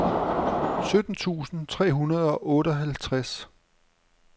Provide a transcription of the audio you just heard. sytten tusind tre hundrede og otteoghalvtreds